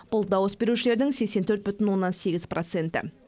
бұл дауыс берушілердің сексен төрт бүтін оннан сегіз проценті